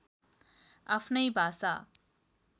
आफ्नै भाषा